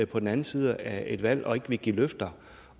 på den anden side af et valg og ikke vil give løfter